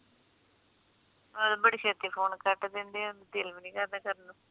ਉਦੋਂ ਬੜੀ ਛੇਤੀ ਫੋਨ ਕੱਟ ਦਿੰਦੇ ਓ ਦਿਲ ਵੀ ਨੀ ਕਰਦਾ ਕਰਨ ਨੂੰ